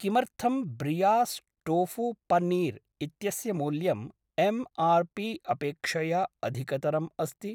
किमर्थं ब्रियास् टोफु पन्नीर् इत्यस्य मूल्यम् एम् आर् पी अपेक्षया अधिकतरम् अस्ति?